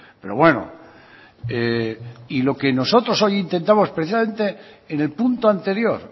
pero bueno y lo que nosotros hoy intentamos precisamente en el punto anterior